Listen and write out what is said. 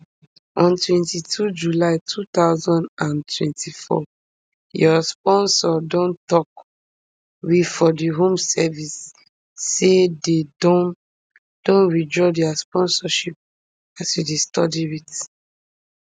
on twenty-two july two thousand and twenty-four your sponsor don tok we for di home office say dey don don withdraw dia sponsorship as you stop dey study wit